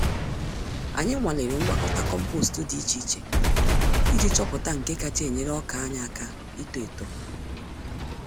Anyị nwalere ngwakọta kompost dị iche iche iji chọpụta nke kacha enyere ọkà anyị àkà ito-eto